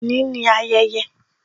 Òní ni ayẹyẹ